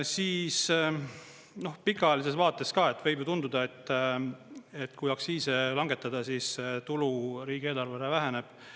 Siis noh, pikaajalises vaates ka, võib ju tunduda, et kui aktsiise langetada, siis tulu riigieelarvele väheneb.